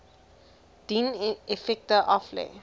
dien effekte aflê